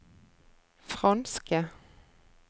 franske